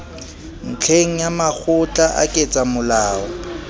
ntlheng ya makgotla a ketsamolao